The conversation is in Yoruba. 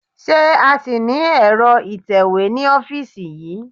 Ṣé a ṣì ní ẹ̀rọ ìtẹ̀wé ní ọ́fíìsì yí?